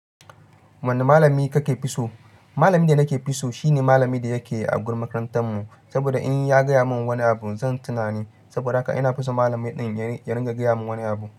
Wanne malami ka ke fi so? Malamin da na ke fi so shine malamin da yake a gurin makarantar mu, saboda in ya gaya mun wani abu zan tuna ni. Saboda haka ina so malami din ya riga gaya mun wani abu.